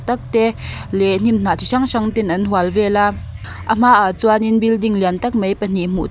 tak tak te leh hnim hnah chi hrang hrang ten an hual vel a a hmaah chuan building lian tak mai pahnih hmu tur--